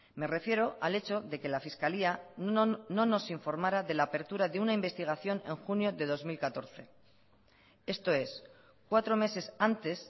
me refiero al hecho de que la fiscalía no nos informara de la apertura de una investigación en junio de dos mil catorce esto es cuatro meses antes